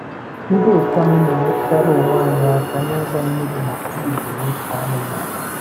Ndị otu anyị na-enyeritara onwe anyị aka na-ịgba mmiri maka ubi na ịkụ anụmanụ